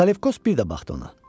Salefkos bir də baxdı ona.